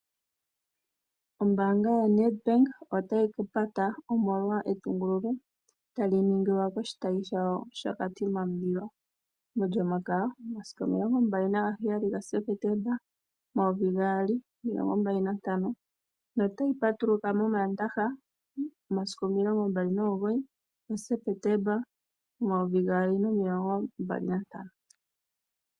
Ombaanga yaNedbank otayi pata, omolwa etungululo tali ningwa koshitayimbaanga shaKatima Mulilo mOlyomakaya omasiku 27 Septemba 2025 notayi ka patuluka mOmaandaha momasiku 29 Septemba 2025.